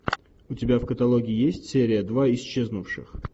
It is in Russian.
у тебя в каталоге есть серия два исчезнувших